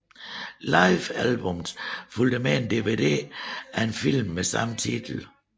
Livealbummet fulgte med en DVD af en film med samme titel